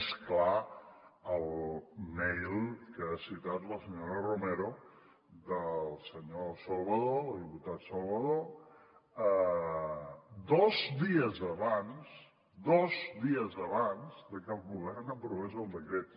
més clar el mail que ha citat la senyora romero del senyor salvadó del diputat salvadó dos diesabans que el govern aprovés el decret